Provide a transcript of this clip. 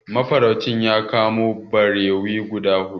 Mafaraucin ya kamo barewi guda huɗu.